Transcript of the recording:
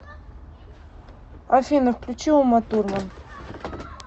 афина включи уматурман